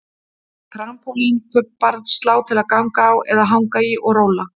Trampólín, kubbar, slá til að ganga á eða hanga í og róla